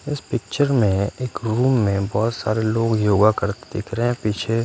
इस पिक्चर में एक रूम में बहोत सारे लोग योगा करते दिख रहे हैं पीछे।